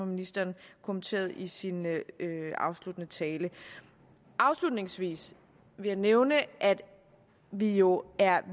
ministeren kommenterede i sin afsluttende tale afslutningsvis vil jeg nævne at vi jo er